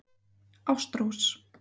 Ástrós